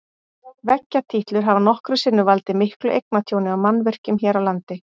Veggjatítlur hafa nokkrum sinnum valdið miklu eignatjóni á mannvirkjum hér á landi.